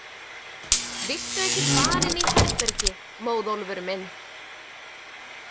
Viltu ekki fara inn í herbergi, Móðólfur minn?